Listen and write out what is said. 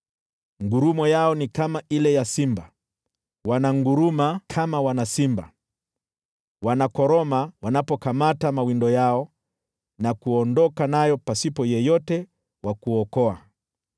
Ngurumo yao ni kama ile ya simba, wananguruma kama wana simba, wanakoroma wanapokamata mawindo yao, na kuondoka nayo pasipo yeyote wa kuokoa.